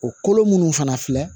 O kolo minnu fana filɛ